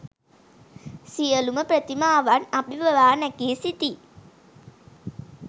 සියලුම ප්‍රතිමාවන් අභිබවා නැගී සිටියි.